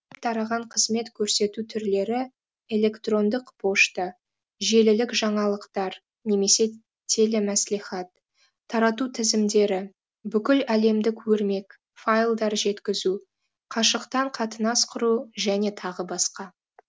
тараған қызмет көрсету түрлері электрондық пошта желілік жаңалықтар немесе телемәслихат тарату тізімдері бүкіл әлемдік өрмек файлдар жеткізу қашықтан қатынас құру жөне тағы басқа